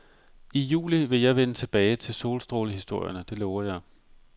I juli vil jeg vende tilbage til solstrålehistorierne, det lover jeg.